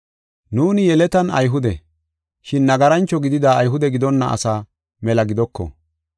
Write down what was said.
Nuuni yeletan Ayhude, shin nagarancho gidida Ayhude gidonna asaa mela gidoko.